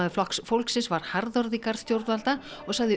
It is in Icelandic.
Flokks fólksins var harðorð í garð stjórnvalda og sagði